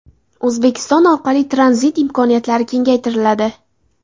O‘zbekiston orqali tranzit imkoniyatlari kengaytiriladi.